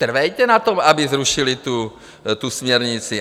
Trvejte na tom, aby zrušili tu směrnici.